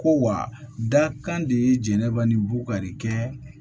Ko wa dakan de ye jɛnnanba ni bukari kɛ